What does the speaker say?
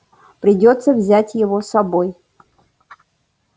придётся взять его с собой